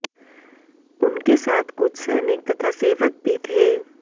उनके साथ कुछ सैनिक तथा सेवक भी थे